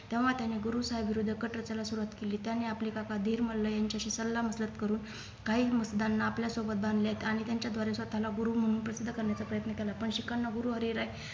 तेव्हा त्याने गुरुसाहेब विरुद्ध कट रचायला सुरुवात केली त्याने आपले काका दिरमल्ल यांच्याशी सल्ला मसलत करून काही मसुदांना आपल्या सोबत बांधल्यात आणि त्यांच्याद्वारे स्वतःला गुरु म्हणून प्रसिद्ध करण्याचा प्रयत्न केला पण शिखांना गुरु हरि राय